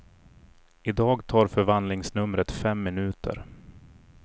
I dag tar förvandlingsnumret fem minuter.